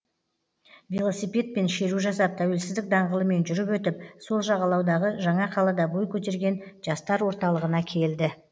велосипедпен шеру жасап тәуелсіздік даңғылымен жүріп өтіп сол жағалаудағы жаңа қалада бой көтерген жастар орталығына келді